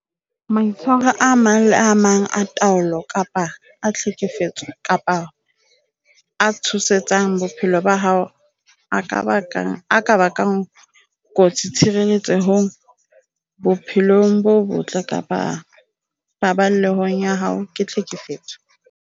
Maitshwaro a mang le a mang a taolo kapa a tlhekefetso kapa a tshosetsang bophelo ba hao a ka bakang kotsi tshireletsehong, bophelong bo botle kapa paballehong ya hao ke tlhekefetso.